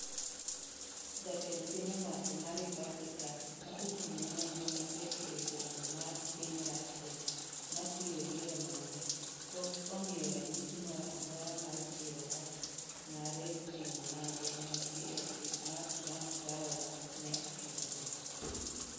Jatend piny owacho ma Republican, ma ochung'ne nonro matek ewi donjo mar piny Russia mar siro yiero mare, pok omiyo ranyisi moro amora mar siro wach mare ni simu mage mantie e apis mar Trump Tower ne okethore.